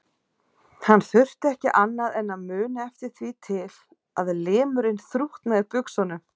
Hann þurfti ekki annað en að muna eftir því til að limurinn þrútnaði í buxunum.